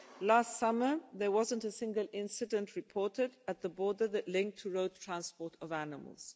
Last summer there wasn't a single incident reported at the border linked to the road transport of animals.